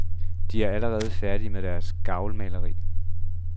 De er allerede færdige med deres gavlmalerier.